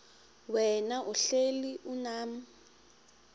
wena uhlel unam